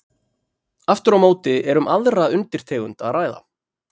Aftur á móti er um aðra undirtegund að ræða.